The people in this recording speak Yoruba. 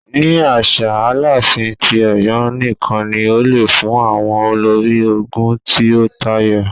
Ni aṣa, Alaafin ti Ọyọ nikan ni o le fun awọn olori ogun ti o tayọ.